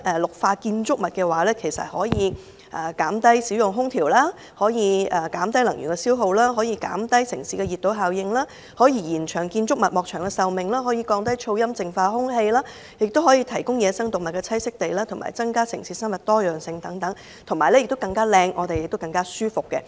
綠化建築物可減低使用空調、減低能源消耗、減低城市熱島效應、延長建築物及外牆的壽命、降低噪音和淨化空氣、提供野生動物的棲息地、增加城市生物多樣性，令城市更美麗，市民生活更舒適。